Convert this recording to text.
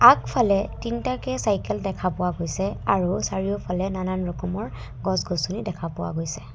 আগফালে তিনিটাকে চাইকেল দেখা পোৱা গৈছে আৰু চাৰিওফালে নানান ৰকমৰ গছ-গছনি দেখা পোৱা গৈছে।